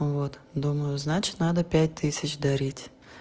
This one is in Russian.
вот думаю значит надо пять тысяч дарить